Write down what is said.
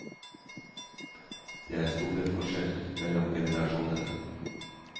Det er store forskjeller mellom generasjonene.